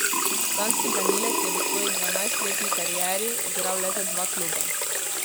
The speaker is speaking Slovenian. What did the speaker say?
Danski branilec je v svoji dvanajstletni karieri igral le za dva kluba.